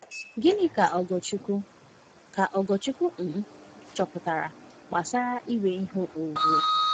Gịnị ka Ogorchukwu ka Ogorchukwu um chọpụtara gbasara inwe ihe onwunwe?